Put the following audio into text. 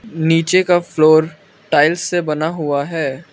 नीचे का floor tiles से बना हुआ है।